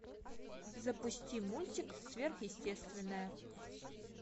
запусти мультик сверхъестественное